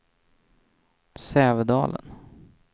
Sävedalen